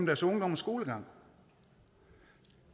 deres ungdom og skolegang